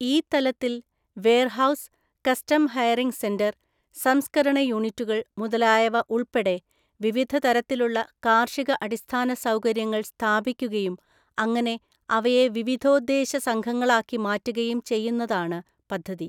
ഈ തലത്തില്‍ warehouse, custom hiring centre‍, സംസ്കരണ യൂണിറ്റുകള്‍ മുതലായവ ഉഉള്‍പ്പടെ വിവിധ തരത്തിലുള്ള കാര്ഷിക അടിസ്ഥാനസൗകര്യങ്ങള്‍ സ്ഥാപിക്കുകയും അങ്ങനെ അവയെ വിവിധദ്ദോശ സംഘങ്ങളാക്കി മാറ്റുകയും ചെയ്യുന്നതാണ് പദ്ധതി.